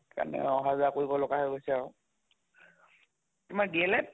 সেই কাৰণে অহা যোৱা কৰিব লগা হৈ গৈছে আৰু । তোমাৰ DL Ed ?